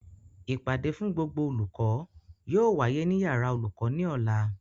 Ìpàdé fún gbogbo olùkọ́ yóò wáyé ní yàrá olùkọ́ ní Ọ̀la